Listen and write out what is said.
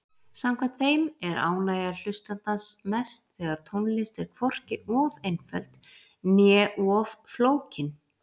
Samkvæmt þeim er ánægja hlustandans mest þegar tónlist er hvorki of einföld né of flókin.